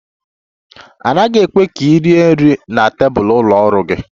A naghị ekwe ka ị rie nri na tebụl ụlọ ọrụ gị